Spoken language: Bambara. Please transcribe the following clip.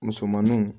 Musomaninw